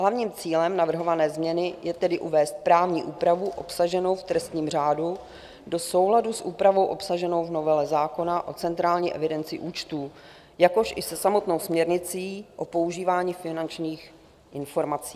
Hlavním cílem navrhované změny je tedy uvést právní úpravu obsaženou v trestním řádu do souladu s úpravou obsaženou v novele zákona o centrální evidenci účtů, jakož i se samotnou směrnicí o používání finančních informací.